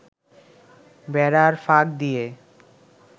বেড়ার ফাঁক দিয়ে